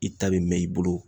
I ta bɛ mɛn i bolo.